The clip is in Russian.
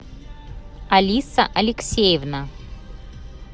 алиса алексеевна